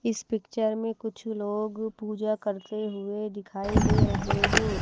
इस पिक्चर में कुछ लोग पूजा करते हुए दिखाई दे रहे हैं।